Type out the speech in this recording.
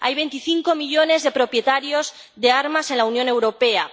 Hay 25 millones de propietarios de armas en la Unión Europea.